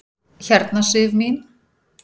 Hérna Sif mín.